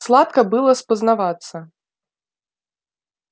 сладко было спознаваться